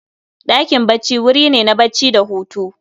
Ɗakin bacci wuri ne na bacci da Hutu